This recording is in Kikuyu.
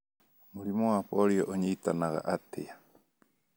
Mũrimũ wa polio ũnyiitanaga atĩa?